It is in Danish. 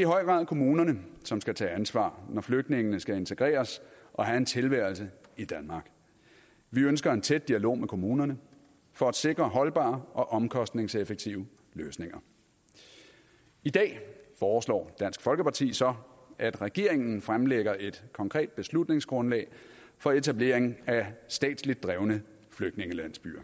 i høj grad kommunerne som skal tage ansvar når flygtningene skal integreres og have en tilværelse i danmark vi ønsker en tæt dialog med kommunerne for at sikre holdbare og omkostningseffektive løsninger i dag foreslår dansk folkeparti så at regeringen fremlægger et konkret beslutningsgrundlag for etablering af statsligt drevne flygtningelandsbyer